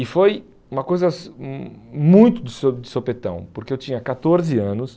E foi uma coisa hum muito de so de sopetão, porque eu tinha catorze anos.